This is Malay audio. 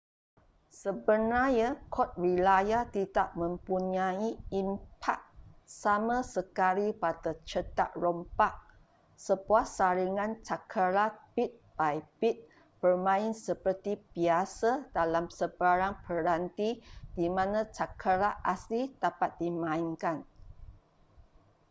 sebenarnya kod wilayah tidak mempunyai impak sama sekali pada cetak rompak sebuah salinan cakera bit by bit bermain seperti biasa dalam sebarang peranti di mana cakera asli dapat dimainkan